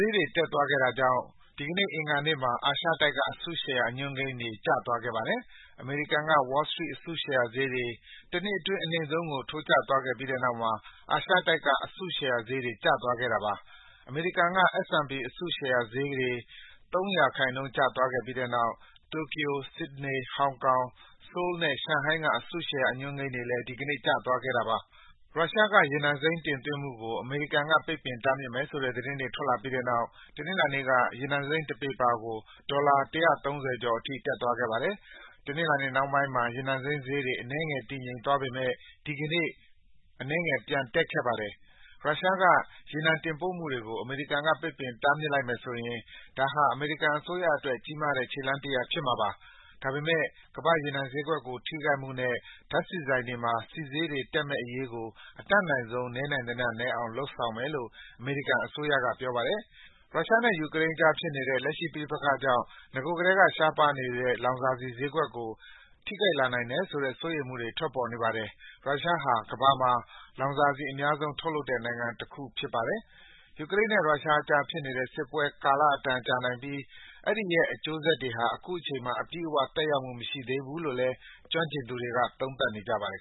ေးတွေတက်သွားခဲ့တာကြောင့် ဒီနေ့ အင်္ဂါနေ့မှာ အာရှတိုက်က အစုရှယ်ယာ အညွန်းကိန်းတွေ ကျသွားခဲ့ပါတယ်။ အမေရိကန်က Wall Street အစုရှယ်ယာဈေးတွေ တနှစ်အတွင်း အနိမ့်ဆုံးကိုထိုးကျသွားပြီးတဲ့နောက် အာရှတိုက်ကအစုရှယ်ယာတွေ ကျသွားခဲ့တာပါ။ အမေရိကန်က S&P အစုရှယ်ယာဈေးတွေ ၃% ကျသွားခဲ့ပြီးတဲ့နောက် တိုကျို၊ Sydney ၊ ဟောင်ကောင်၊ ဆိုးလ်နဲ့ ရှန်ဟိုင်းက အစုရှယ်ယာအညွန်းကိန်းတွေ ဒီကေန့ ကျသွားခဲ့တာပါ။ ရုရှားက ရေနံစိမ်းတင်သွင်းမှုကို အေမရိကန်က ပိတ်ပင်တားမြစ်မယ်ဆိုတဲ့သတင်းတွေ ထွက်လာပြီးတဲ့နောက် တနင်္လာနေ့က ရေနံစိမ်းတပေပါကို ဒေါ်လာ ၁၃၀ ကျော်အထိ တက်သွားခဲ့ပါတယ်။ တနင်္လာနေ့နှောင်းပိုင်းမှာ ရေနံစိမ်းဈေးတွေ အနည်းငယ် တည်ငြိမ်သွားပေမယ့် ဒီနေ့ အနည်းငယ် ပြန်တက်ခဲ့ပါတယ်။ ရုရှားကရေနံတင်ပို့မှုတွေကို အမေရိကန်က ပိတ်ပင်တားမြစ်လိုက်မယ်ဆိုရင် ဒါဟာ အမေရိကန်အစိုးရအတွက် ကြီးမားတဲ့ ခြေလှမ်းတရပ်ဖြစ်မှာပါ။ ဒါပေမယ့် ကမ္ဘာ့ရေနံ ဈေးကွက်ကိုထိခိုက်မှုနဲ့ ဓါတ်ဆီဆိုင်တွေမှာ ဆီဈေးတွေတက်မယ့်အေရးကို အတတ်နိုင်ဆုံး နည်းနိုင်သမျှနည်းအောင် လုပ်ဆောင်မယ်လို့ အမေရိကန်အစိုးရက ပြောပါတယ်။ ရုရှားနဲ့ ယူကရိန်းအကြားဖြစ်နေတဲ့ လက်ရှိပဋိပက္ခေကြာင့် နဂိုကတည်းက ရှားပါးနေတဲ့ လောင်စာဆီဈေးကွက်ကို ထိခိုက်လာနိုင်တယ်ဆိုတဲ့ စိုးရိမ်မှုတွေ ထွက်ပေါ်နေပါတယ်။ ရုရှားဟာ ကမ္ဘာမှာ လောင်စာဆီ အများဆုံးထုတ်လုပ်တဲ့ နိုင်ငံတခုဖြစ်ပါတယ်။ ယူကရိန်းနဲ့ ရုရှားအကြားဖြစ်နေတဲ့စစ်ပွဲဟာ ကာလအတန်ကြာနိုင်ပြီး အဲဒီရဲ့ အကျိုးဆက်တွေဟာ အခုချိန်မှာ အပြည့်အဝ သက်ရောက်မှုမရှိသေးဘူးလို့ ကျွမ်းကျင်သူတွေက သုံးသပ်ကြပါတယ်။